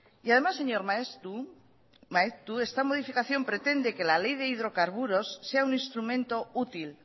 y además señor maeztu esta modificación pretende que la ley de hidrocarburos sea un instrumento útil